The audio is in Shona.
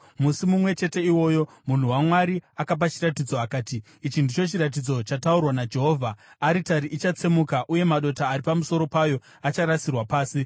Musi mumwe chete iwoyo munhu waMwari akapa chiratidzo akati, “Ichi ndicho chiratidzo chataurwa naJehovha: Aritari ichatsemuka uye madota ari pamusoro payo acharasirwa pasi.”